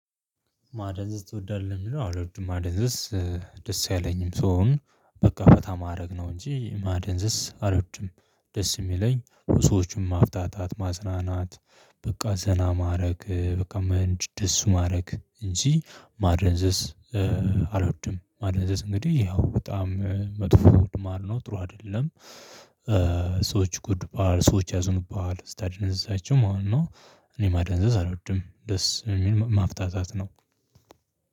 ማደንዘዝ ትወዳለህ የሚለው አልወድም ማደንዘዝ ደስ የለኝም ሰውን በቃ ፈታ ማድረግ ነው እንጂ ማደንዘስ አልወድም። ደስ የሚለኝ ሰዎችን ማፍጣታት ማጽናናት። በቃ ዘና ማድረግ በቃ መህንድ ደስ ማድረግ እንጂ ማደንዘስ አልወድም። ማደንዘስ እንግዲህ ያው በጣም መጥፎ ማል ነው ጥሩ አይደለም። ሰዎች ጉድ ባል ሰዎች ያዙኑብሃል ስታደነዛዛቸው ማለት ነው። እኔ ማደንዘዝ አልወድም ደስ የሚል ማፍታታት ነው።